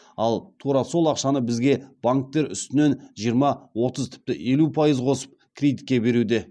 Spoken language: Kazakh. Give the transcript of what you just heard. ал тура сол ақшаны бізге банктер үстінен жиырма отыз тіпті елу пайыз қосып кредитке беруде